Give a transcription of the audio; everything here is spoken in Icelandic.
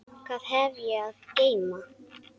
Hvað hef ég að geyma?